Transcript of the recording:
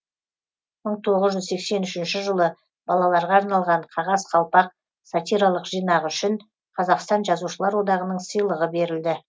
мың тоғыз жүз сексен үшінші жылы балаларға арналған қағаз қалпақ сатиралық жинағы үшін қазақстан жазушылар одағының сыйлығы берілді